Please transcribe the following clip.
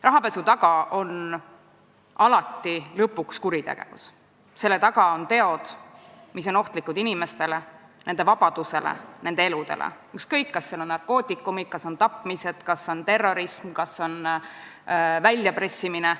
Rahapesu taga on alati lõpuks kuritegevus, selle taga on teod, mis on ohtlikud inimestele, nende vabadusele, nende elule, ükskõik kas seal on juures narkootikumid, tapmised, terrorism, väljapressimised.